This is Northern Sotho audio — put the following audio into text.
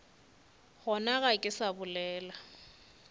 gona ga ke sa bolela